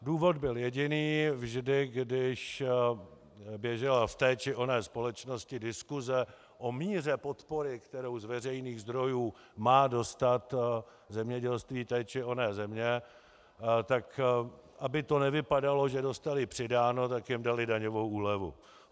Důvod byl jediný - vždy když běžela v té či oné společnosti diskuse o míře podpory, kterou z veřejných zdrojů má dostat zemědělství té či oné země, tak aby to nevypadalo, že dostali přidáno, tak jim dali daňovou úlevu.